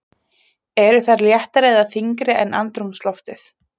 Eru þær léttari eða þyngri en andrúmsloftið?